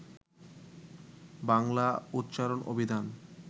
বাংলা উচ্চারণ অভিধান